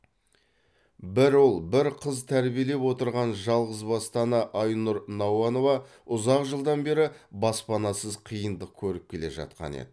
бір ұл бір қыз тәрбиелеп отырған жалғызбасты ана айнұр науанова ұзақ жылдан бері баспанасыз қиындық көріп келе жатқан еді